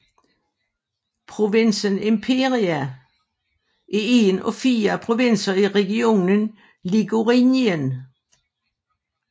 Provinsen Imperia er én af fire provinser i regionen Ligurien